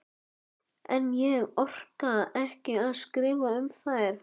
En ég orka ekki að skrifa um þær.